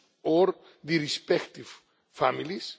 or the respective families.